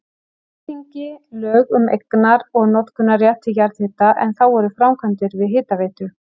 Alþingi lög um eignar- og notkunarrétt til jarðhita, en þá voru framkvæmdir við Hitaveitu